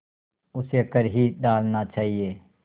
उसे कर ही डालना चाहिए